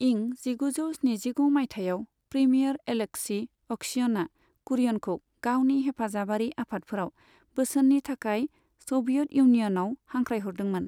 इं जिगुजौ स्निजिगु मायथाइयाव, प्रिमियर अलेक्सि क'श्यिनआ कुरियनखौ गावनि हेफाजाबारि आफादफोराव बोसोननि थाखाय स'भियेट इउनिय'नआव हांख्रायहरदोंमोन।